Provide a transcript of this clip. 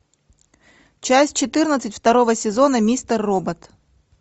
часть четырнадцать второго сезона мистер робот